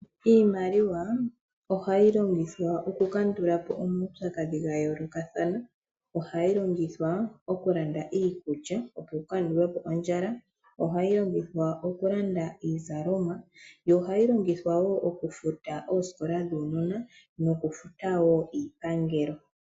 Iimaliwa ohayi longithwa okukandulapo omawupyakadhi gayoolokathana. Ohayi longithwa okulanda iikulya nokukandulapo ondjala, ohayi longithwa okulanda iizalomwa yo ohayi longithwa wo okufuta oosikola dhuunona nokufuta wo iipangelo.